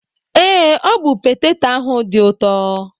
Ee, ọ bụ peteto ahụ dị ụtọ.